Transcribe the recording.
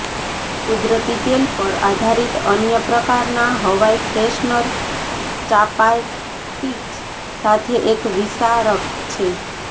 કુદરતી તેલ પર આધારિત અન્ય પ્રકારના હવાઈ ફ્રેશનર ચાપાર્ટિક્સ સાથે એક વિસારક છે